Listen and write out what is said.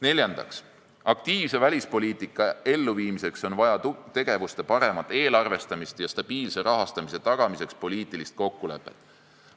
Neljandaks, aktiivse välispoliitika elluviimiseks on vaja tegevusi paremini eelarvestada ja stabiilse rahastamise tagamiseks on vaja poliitilist kokkulepet.